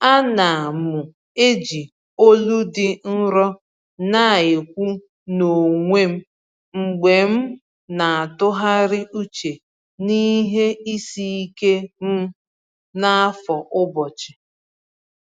Ana m eji olu dị nro na-ekwu n’onwe m mgbe m na-atụgharị uche n’ihe isi ike m n’afọ ụbọchị.